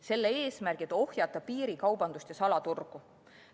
Selle eesmärki ohjata piirikaubandust ja salaturgu.